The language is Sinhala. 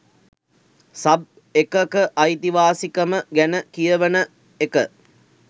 සබ් එකක අයිතිවාසිකම ගැන කියවන එක